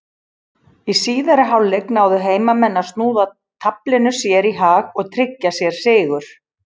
Í síðari hálfleik náðu heimamenn að snúa taflinu sér í hag og tryggja sér sigur.